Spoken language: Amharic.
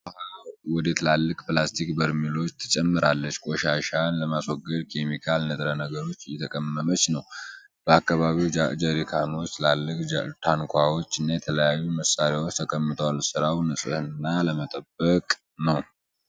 ሴትዮዋ ውሃ ወደ ትላልቅ ፕላስቲክ በርሜሎች ትጨምራለች። ቆሻሻን ለማስወገድ ኬሚካል ንጥረ ነገር እየጠቀመች ነው። በአካባቢው ጃርከኖች፣ ትልልቅ ታንኳዎች እና የተለያዩ መሳሪያዎች ተቀምጠዋል። ሥራው ንጽህና ለመጠበቅ ነው።